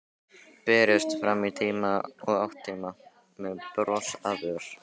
Berist fram í tíma og ótíma, með bros á vör.